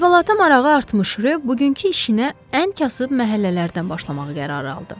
Əhvalata marağı artmış Röb bugünkü işinə ən kasıb məhəllələrdən başlamağa qərar aldı.